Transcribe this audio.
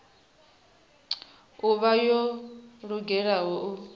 u vha yo lugela u